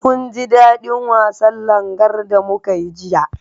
Munji daɗin wasan Langar da muka yi jiya.